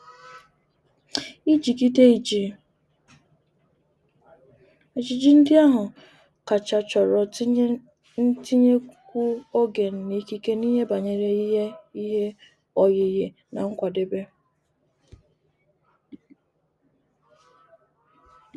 Ijigide iji ejiji ndi ahu kacha choro ntinyekwu ogen na ikike n'ihe banyere ihe ihe oyiyi na nkwadebe.